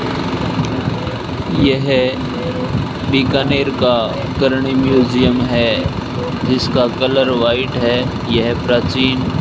यह बीकानेर का करनी म्यूजियम हैं जिसका कलर व्हाइट हैं यह प्राचीन --